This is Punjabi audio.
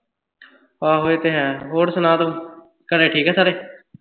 ਆਹੋ ਇਹ ਤੇ ਹੈ। ਹੋਰ ਸੁਣਾ ਤੂੰ ਘਰੇ ਠੀਕ ਆ ਸਾਰੇ।